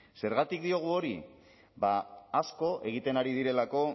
zergatik diogu hori ba asko egiten ari direlako